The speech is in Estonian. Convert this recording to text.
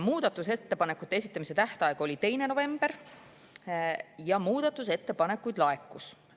Muudatusettepanekute esitamise tähtaeg oli 2. november ja muudatusettepanekuid laekus.